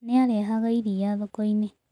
Nĩ aarehaga iria thoko-inĩ.